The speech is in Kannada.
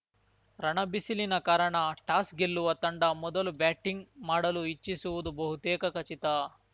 ರಣಬಿಸಿಲಿನ ಕಾರಣ ಟಾಸ್‌ ಗೆಲ್ಲುವ ತಂಡ ಮೊದಲು ಬ್ಯಾಟಿಂಗ್‌ ಮಾಡಲು ಇಚ್ಛಿಸುವುದು ಬಹುತೇಕ ಖಚಿತ